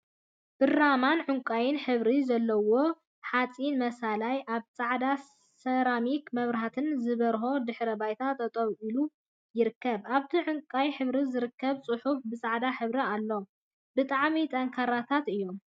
ብራማን ዕንቃይን ሕብሪ ዘለዎም ሓጺን መሳልላት ኣብ ጻዕዳ ሰራሚክ መብራህቲ ዝበርሆ ድሕረ ባይታ ጠጠው ኢሎም ይርከቡ። ኣብቲ ዕንቃይ ሕብሪ ዝተፈላለዩ ጽሑፋት ብጻዕዳ ሕብሪ ኣለው። ብጣዕሚ ጠንካራታት እዮም።